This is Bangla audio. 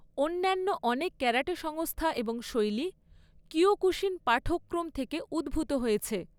অন্যান্য অনেক ক্যারাটে সংস্থা এবং শৈলী কিয়োকুশিন পাঠ্যক্রম থেকে উদ্ভূত হয়েছে।